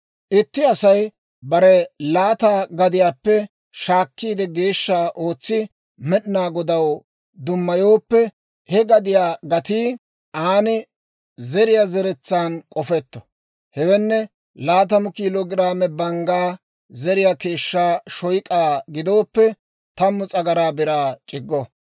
« ‹Itti Asay bare laata gadiyaappe shaakkiide geeshsha ootsi Med'inaa Godaw dummayooppe, he gadiyaa gatii aan zeriyaa zeretsaan k'ofetto. Hewenne laatamu kiilo giraame banggaa zeriyaa keeshshaa shoyk'aa gidooppe, tammu s'agaraa biraa c'iggo.